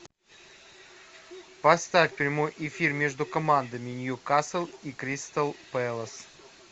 поставь прямой эфир между командами ньюкасл и кристал пэлас